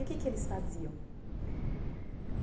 E o que que eles faziam?